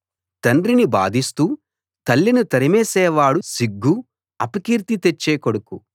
తండ్రిని బాధిస్తూ తల్లిని తరిమేసేవాడు సిగ్గు అపకీర్తి తెచ్చే కొడుకు